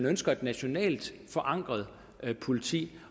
ønsker et nationalt forankret politi